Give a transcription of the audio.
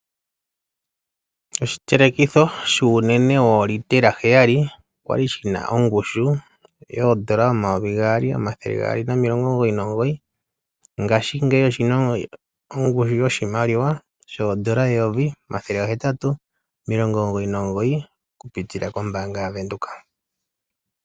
Oshitelekitho shuunene wo litela heyali okwa li shina ongushu yoondola omayovi gaali nomathele ga gaali nomilongo omugoyi nomugoyi, ngaashingeyi oshina ongushu yoondola eyovi limwe omathele ga hetatu nomilongo omugoyi nomugoyi oku pitila kombaanga yotango yopashigwana.